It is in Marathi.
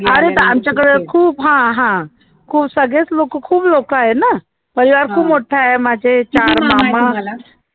अरे आमच्याकडं खूप हा हा खूप सगळे च लोकं खूप लोकं आहे ना परिवार खूप मोठे आहे माझे चार मामा